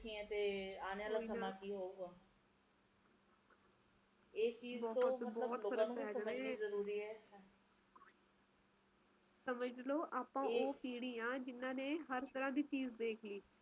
ਤੇ ਮੌਸਮ ਕੋਈ ਹੇਗਾ ਸਰਦੀ ਹੋਵੇ ਗਰਮੀ ਹੋਵੇ ਭਾਵੇ ਮੀਹ ਪਰ ਮੇਰੇ ਹਿਸਾਬ ਨਾਲ ਕਿ ਸਹੀ ਹੋਣਾ ਚਾਹੀਦਾ ਬਹੁਤ ਜ਼ਿਆਦਾ ਨਹੀਂ ਹੋਣਾ ਚਾਹੀਦਾ